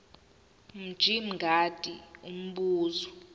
mj mngadi umbuzo